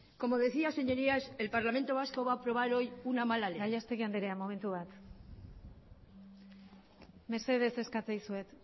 como decía señorías el parlamento vasco va a aprobar hoy una mala ley gallastegui andrea momentu bat mesedez eskatzen dizuet